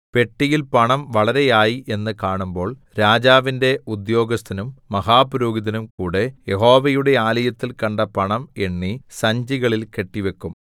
പെട്ടിയിൽ പണം വളരെയായി എന്ന് കാണുമ്പോൾ രാജാവിന്റെ ഉദ്യോഗസ്ഥനും മഹാപുരോഹിതനും കൂടെ യഹോവയുടെ ആലയത്തിൽ കണ്ട പണം എണ്ണി സഞ്ചികളിൽ കെട്ടിവെക്കും